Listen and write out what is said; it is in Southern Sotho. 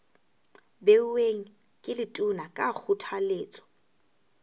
beuweng ke letona ka kgothaletso